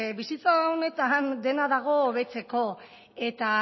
bizitza honetan dena dago hobetzeko eta